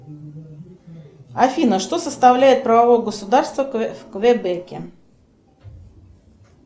афина что составляет правовое государство в квебеке